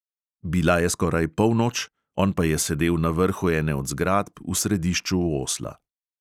Bila je skoraj polnoč, on pa je sedel na vrhu ene od zgradb v središču osla.